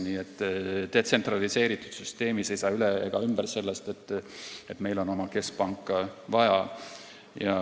Nii et detsentraliseeritud süsteemis ei saa üle ega ümber sellest, et meil on oma keskpanka vaja.